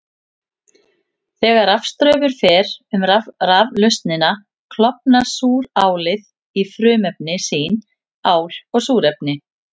Þegar rafstraumur fer um raflausnina klofnar súrálið í frumefni sín, ál og súrefni.